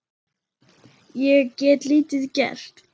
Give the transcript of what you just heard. Ég get lítið gert.